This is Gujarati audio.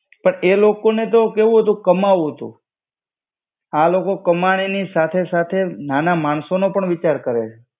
પણ એ લોકોને તો કેવું હતું, કમાવું તું. આ લોકો કમાણીની સાથે સાથે નાના માણસોનો પણ વિચાર કરે.